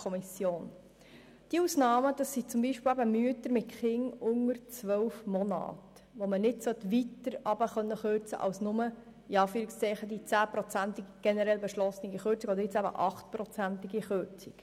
Solche Ausnahmen sind beispielsweise Mütter mit Kindern unter 12 Monaten, bei denen man nicht weiter als «nur» bis zu den generell beschlossenen 10 oder jetzt eben 8 Prozent soll kürzen können.